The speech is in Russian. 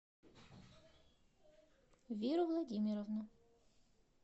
веру владимировну